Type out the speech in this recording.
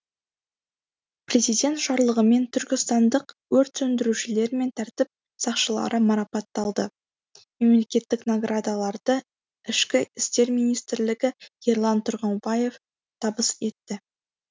президент жарлығымен түркістандық өрт сөндірушілер мен тәртіп сақшылары марапатталды мемлекеттік наградаларды ішкі істер министрлігі ерлан тұрғымбаев табыс етті